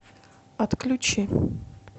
отключи